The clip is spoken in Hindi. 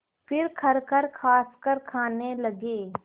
फिर खरखर खाँसकर खाने लगे